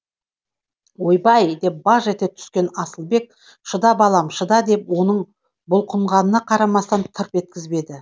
ойбай деп баж ете түскен асылбек шыда балам шыда деп оның бұлқынғанына қарамастан тырп еткізбеді